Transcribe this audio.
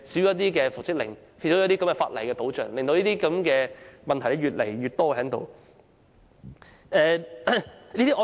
缺乏復職相關的法例保障，令這類問題越來越多。